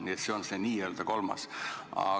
Nii et see on mul n-ö kolmas.